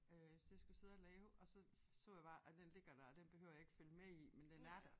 Øh til det jeg skulle sidde og lave og så så jeg bare at den ligger der og den behøver jeg ikke følge med i men den er der